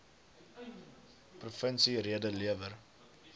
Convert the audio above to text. provinsie rede lewer